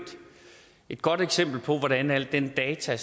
et godt eksempel på hvordan alle de data